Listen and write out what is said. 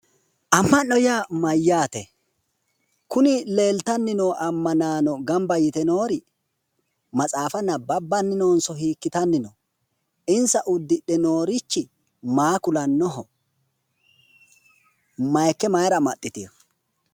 Amma'no yaa mayyaate? kuni leeltanni noo ammanaano gamba yite noori matsaafa nabbabbanni noonso hiikitanni no? insa uddidhe noorichi maa kulannoho? maayiikke maayiira amaxxitino?